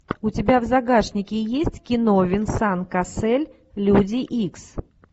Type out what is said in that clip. у тебя в загашнике есть кино венсан кассель люди икс